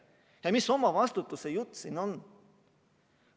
Ja mis omavastutuse jutt see siin on?!